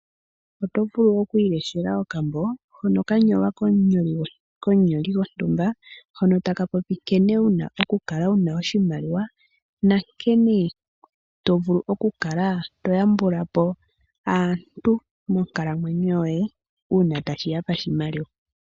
Oto vulu oku ileshela okambo hono kanyolwa komunyoli gontumba, hono takapopi nkene wuna okukala wuna oshimaliwa nankene tovulu okukala toyambulapo aantu monkalamwenyo yoye uuna tashiya pashimaliwa.